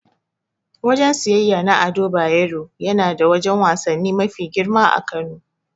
Wajen siyeyya na Ado Bayero yana da wajen wasanni mafi girma a Kano.